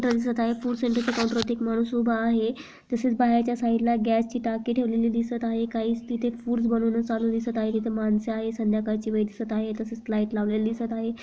Counter वरती एक माणूस उभा आहे तसेच बाहेर च्या साइड ला गैस ची टाकी ठेवलेली दिसत आहे काहीच तिथे फूड्स बनवन चालू दिसत आहे तिथे माणसे आहेत संध्याकल ची वेल दिसत आहे तसेच लाइट लवलेली दिसत आहे.